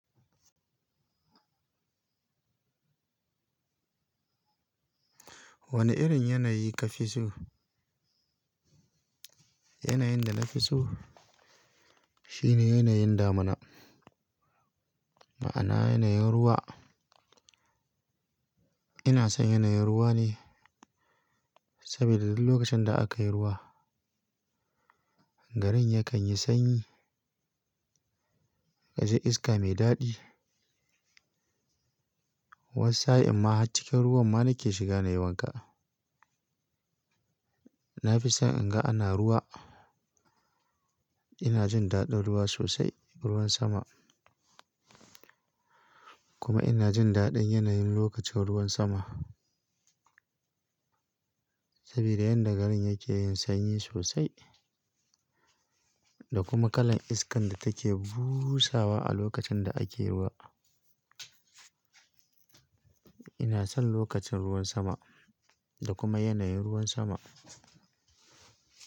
Wane irin yanayi ka fi so? Yanayin da na fi so shine yanayin damuna, ma'ana yanayin ruwa. Ina son yanayin ruwa ne, saboda duk lokacin da aka yi ruwa, garin yakan yi sanyi, ka ji iska mai daɗi. Wasu sa'a in ma a cikin ruwan ma na ke shiga nayi wanka. Na fi son in ga ana ruwa, ina jin daɗin ruwa sosai, ruwan sama. Kuma ina jin daɗin yanayin lokacin ruwan sama. Saboda yan da garin yake yin sanyi sosai, da kuma kalan iskan da take busawa a lokacin da ake ruwa. Ina son lokacin ruwan sama, da kuma yanayin ruwan sama.